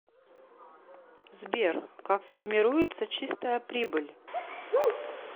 сбер как формируется чистая прибыль